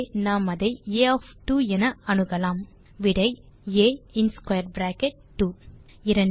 ஆகவே நாம் அதை ஆ ஒஃப் 2 என அணுகலாம் விடை ஆ இன் ஸ்க்வேர் பிராக்கெட் 2